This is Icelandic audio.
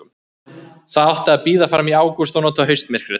Það átti að bíða fram í ágúst og nota haustmyrkrið.